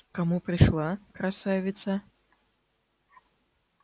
к кому пришла красавица